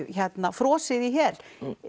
frosið í hel